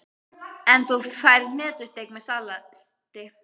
En þú færð hnetusteik með salati.